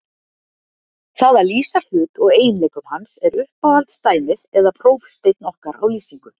Það að lýsa hlut og eiginleikum hans er uppáhalds dæmið eða prófsteinn okkar á lýsingu.